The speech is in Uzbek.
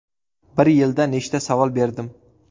Bir yilda nechta savol berdim?